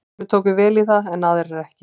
Sumir tóku vel í það en aðrir ekki.